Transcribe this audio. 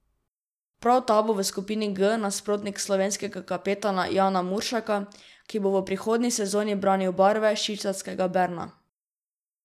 Prav ta bo v skupini G nasprotnik slovenskega kapetana Jana Muršaka, ki bo prihodnji sezoni branil barve švicarskega Berna.